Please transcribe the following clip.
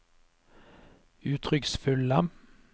uttrykksfulle